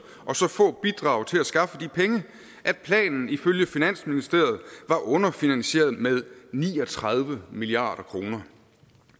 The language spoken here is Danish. og så få bidrag til at skaffe de penge at planen ifølge finansministeriet var underfinansieret med ni og tredive milliard kroner